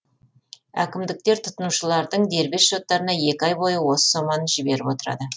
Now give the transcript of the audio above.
әкімдіктер тұтынушылардың дербес шоттарына екі ай бойы осы соманы жіберіп отырады